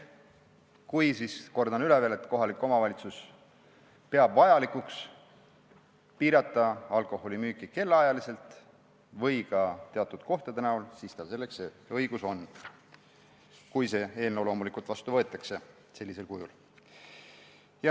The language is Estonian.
Kordan veel üle: kui kohalik omavalitsus peab vajalikuks piirata alkoholimüüki kellaajaliselt või ka teatud kohtades, siis tal on selleks õigus, kui see eelnõu loomulikult sellisel kujul vastu võetakse.